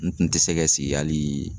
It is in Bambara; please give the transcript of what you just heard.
N tun tɛ se ka sigi hali